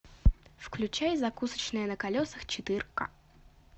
включай закусочная на колесах четырка